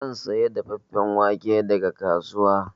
Zan saya dafeffen wake daga kasuwa.